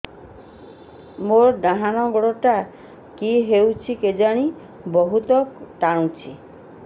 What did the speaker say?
ମୋର୍ ଡାହାଣ୍ ଗୋଡ଼ଟା କି ହଉଚି କେଜାଣେ ବହୁତ୍ ଟାଣୁଛି